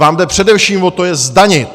Vám jde především o to je zdanit!